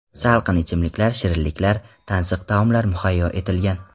Salqin ichimliklar, shirinliklar, tansiq taomlar muhayyo etilgan.